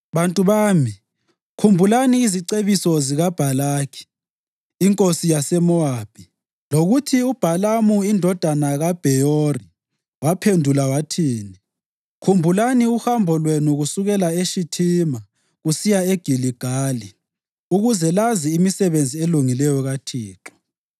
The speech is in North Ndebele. Bantu bami, khumbulani izicebiso zikaBhalaki inkosi yaseMowabi lokuthi uBhalamu indodana kaBheyori waphendula wathini. Khumbulani uhambo lwenu kusukela eShithima kusiya eGiligali, ukuze lazi imisebenzi elungileyo kaThixo.”